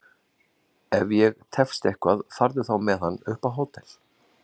Ef ég tefst eitthvað farðu þá með hann upp á hótel!